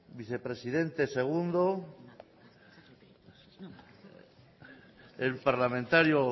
vicepresidente segundo el parlamentario